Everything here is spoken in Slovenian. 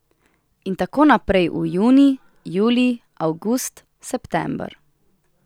In tako naprej v junij, julij, avgust, september ...